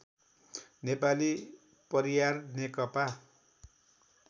नेपाली परियार नेकपा